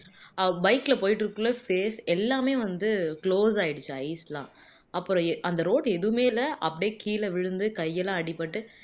அவள் bike ல போயிட்டு இருக்ககுள்ள space எல்லாமே வந்து close ஆயிடிச்சாம் அப்புறம் அந்த road எதுவுமே இல்ல அப்படியே கீழ விழுந்து கையெல்லாம் அடிபட்டு